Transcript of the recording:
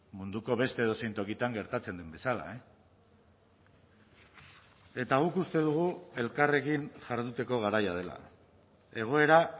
munduko beste edozein tokitan gertatzen den bezala eta guk uste dugu elkarrekin jarduteko garaia dela egoera